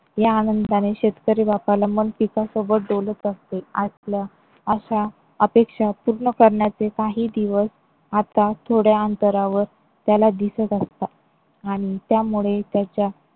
या आनंदानें शेतकरी बापाला मन पिकासोबत डोलत असते असल्या आशा अपेक्षा पूर्ण करण्याचे काही दिवस आता थोड्या अंतरावर त्याला दिसत असतात आणि त्यामुळे त्याच्या